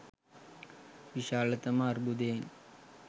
විශාලත ම අර්බුදයෙන්